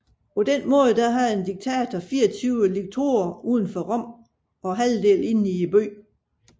Således havde en diktator 24 liktorer uden for Rom og halvdelen inde i byen